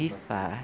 E fa...